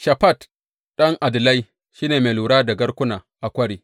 Shafat ɗan Adlai shi ne mai lura da garkuna a kwari.